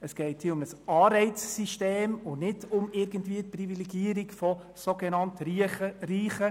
Es geht hier um ein Anreizsystem und nicht um die Privilegierung von sogenannt Reichen.